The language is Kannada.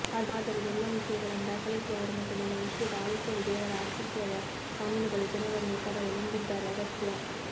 ಆದ್ದರಿಂದ ಎಲ್ಲಾ ವಿಷಯಗಳನ್ನು ದಾಖಲಿಸಿದವರು ಮತ್ತು ನಮ್ಮ ವಿಶ್ವದ ಆಳುತ್ತದೆ ದೇವರ ಅಸ್ತಿತ್ವದ ಕಾನೂನುಗಳು ಜನರನ್ನು ತರಲು ನಂಬಿದ್ದಾರೆ ಅಗತ್ಯ